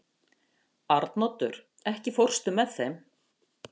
Arnoddur, ekki fórstu með þeim?